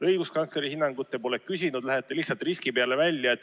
Õiguskantsleri hinnangut te pole küsinud, lähete lihtsalt riski peale välja.